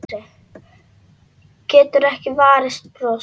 Getur ekki varist brosi.